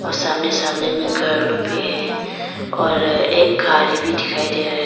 सामने सामने में घर लोग भी रहे हैं और एक गाड़ी भी दिखाई दे रहे हैं।